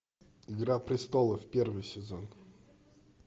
игра престолов первый сезон